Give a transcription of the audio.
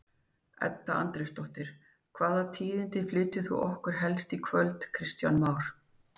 Edda Andrésdóttir: Hvaða tíðindi flytur þú okkur helst í kvöld Kristján Már?